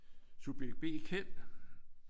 Subjekt B Kjeld